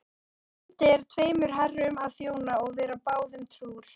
Vandi er tveimur herrum að þjóna og vera báðum trúr.